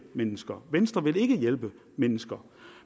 mennesker venstre vil ikke hjælpe mennesker